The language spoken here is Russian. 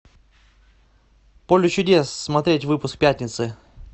поле чудес смотреть выпуск пятницы